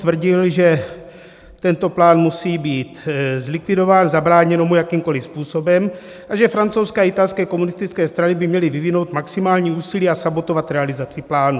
Tvrdil, že tento plán musí být zlikvidován, zabráněno mu jakýmkoli způsobem, a že francouzské a italské komunistické strany by měly vyvinout maximální úsilí a sabotovat realizaci plánu.